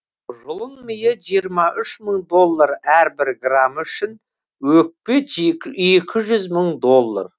жұлын миы жиырма үш мың доллар әрбір граммы үшін өкпе екі жүз мың доллар